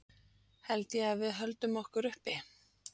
Held ég að við höldum okkur uppi?